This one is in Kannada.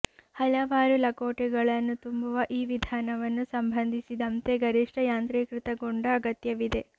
ಹಲವಾರು ಲಕೋಟೆಗಳನ್ನು ತುಂಬುವ ಈ ವಿಧಾನವನ್ನು ಸಂಬಂಧಿಸಿದಂತೆ ಗರಿಷ್ಠ ಯಾಂತ್ರೀಕೃತಗೊಂಡ ಅಗತ್ಯವಿದೆ